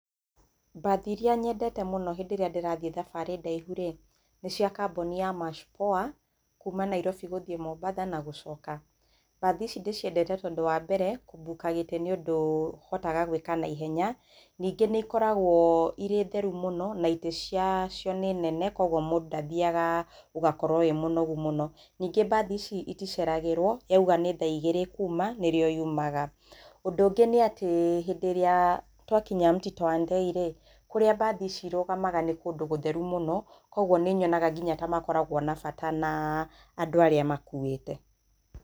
Mbathi iria nyendete mũno hĩndĩ ĩrĩa ndĩtathiĩ thabarĩ ndaihu rĩ nĩ cia kambuni ya March Poa kuma Nairobi gũthiĩ Mombatha na gũcoka, mbathi ici ndĩciendete tondũ wa mbere kũmbuka gĩtĩ nĩ ũndũ ũhotaga gwĩka na ihenya ningĩ nĩ ikoragwo irĩ theru mũno na itĩ cia cio nĩ nene kwoguo mũndũ ndathiaga ũgakorwo arĩ mũnogu mũno, ningĩ mbathi ici iticeragĩrwo, yauga nĩ thaa igĩrĩ ĩkuma nĩrĩo yumaga, ũndũ ũngĩ nĩ atĩ hĩndĩ ĩrĩa twakinya Mũtitũ wa Ndei rĩ kũrĩa mbathi ici irũgamaga nĩ kũndũ gũtheru mũno kwoguo nĩ nyonaga nginya ta makoragwo na bata naaa andũ arĩa makuĩte.